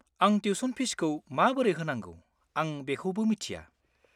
आंनि टिउस'न फिजखौ माबोरै होनांगौ आं बेखौबो मिथिया।